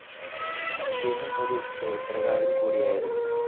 ഇദ്ദേഹം ഒരു ചരിത്രകാരൻ കൂടിയായിരുന്നു.